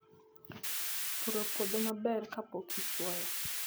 Puro puodho maber kapok ichwoyo